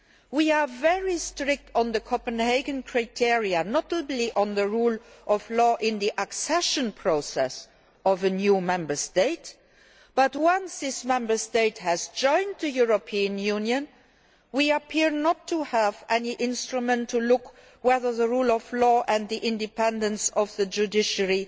We are very strict on the Copenhagen criteria, notably on the rule of law in the accession process of a new Member State but, once this Member State has joined the European Union, we appear not to have any instrument to see whether the rule of law and the independence of the judiciary